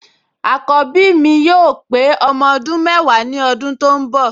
Àkọ́bí mi yóò pé ọmọ ọdún mẹ́wàá ní ọdún tó ń bọ̀